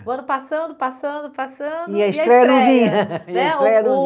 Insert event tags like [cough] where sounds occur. O ano passando, passando, passando. E a estreia não vinha. [unintelligible] Né o o [unintelligible]